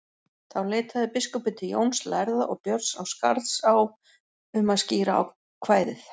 Þá leitaði biskupinn til Jóns lærða og Björns á Skarðsá um að skýra kvæðið.